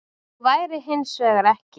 Svo væri hins vegar ekki